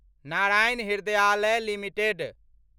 Narayan Hrudayalaya limited